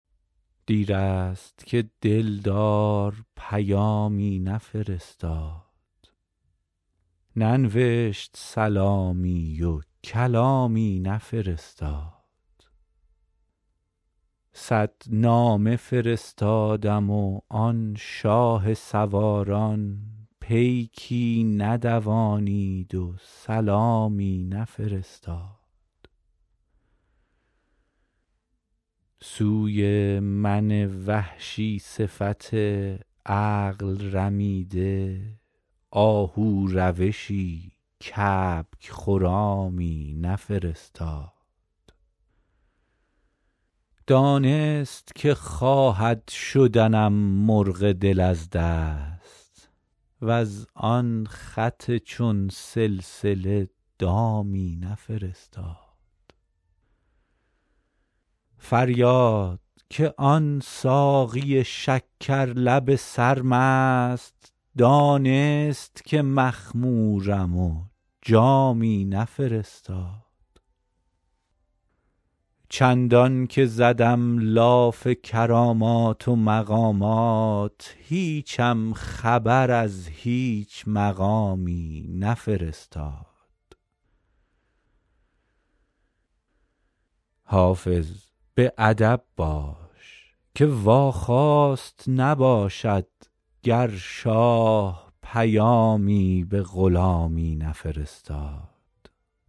دیر است که دل دار پیامی نفرستاد ننوشت سلامی و کلامی نفرستاد صد نامه فرستادم و آن شاه سواران پیکی ندوانید و سلامی نفرستاد سوی من وحشی صفت عقل رمیده آهو روشی کبک خرامی نفرستاد دانست که خواهد شدنم مرغ دل از دست وز آن خط چون سلسله دامی نفرستاد فریاد که آن ساقی شکر لب سرمست دانست که مخمورم و جامی نفرستاد چندان که زدم لاف کرامات و مقامات هیچم خبر از هیچ مقامی نفرستاد حافظ به ادب باش که واخواست نباشد گر شاه پیامی به غلامی نفرستاد